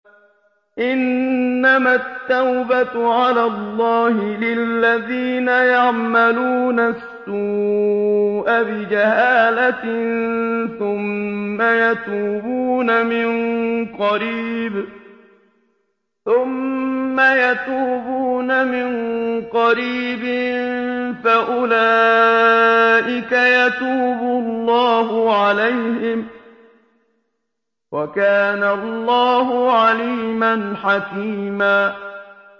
إِنَّمَا التَّوْبَةُ عَلَى اللَّهِ لِلَّذِينَ يَعْمَلُونَ السُّوءَ بِجَهَالَةٍ ثُمَّ يَتُوبُونَ مِن قَرِيبٍ فَأُولَٰئِكَ يَتُوبُ اللَّهُ عَلَيْهِمْ ۗ وَكَانَ اللَّهُ عَلِيمًا حَكِيمًا